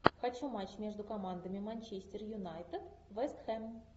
хочу матч между командами манчестер юнайтед вест хэм